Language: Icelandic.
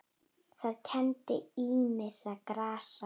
Það kenndi ýmissa grasa